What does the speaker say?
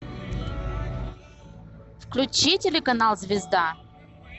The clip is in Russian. включи телеканал звезда